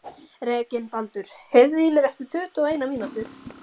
Reginbaldur, heyrðu í mér eftir tuttugu og eina mínútur.